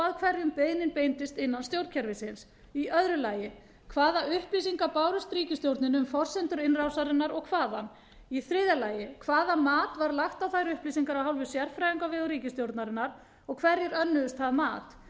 að hverjum beiðnin beindist innan íslenska stjórnkerfisins b hvaða upplýsingar bárust ríkisstjórninni um forsendur innrásarinnar og hvaðan c hvaða mat var lagt á þær upplýsingar af hálfu sérfræðinga á vegum ríkisstjórnarinnar og hverjir önnuðust